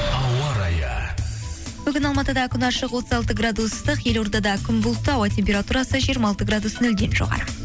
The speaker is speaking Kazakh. ауа райы бүгін алматыда күн ашық отыз алты градус ыстық елордада күн бұлтты ауа температурасы жиырма алты градус нөлден жоғары